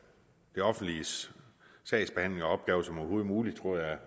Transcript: det offentliges sagsbehandling og opgaver som overhovedet muligt tror jeg